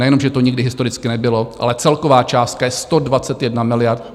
Nejenom že to nikdy historicky nebylo, ale celková částka je 121 miliard.